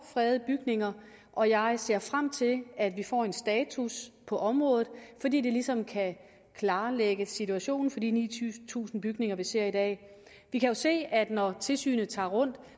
fredede bygninger og jeg ser frem til at vi får en status på området fordi det ligesom kan klarlægge situationen for de ni tusind bygninger vi ser i dag vi kan se at når tilsynet tager rundt